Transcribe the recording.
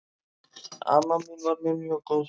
Amma mín var mér mjög góð.